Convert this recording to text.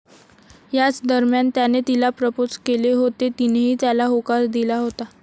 याच दरम्यान त्याने तिला प्रपोज केले होते, तिनेही त्याला होकार दिला होता.